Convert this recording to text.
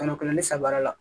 Kɛmɛ kelen ni saba la